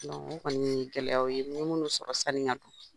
O kɔni ye gɛlɛya ye, n ye minnu sɔrɔ sani n ka na.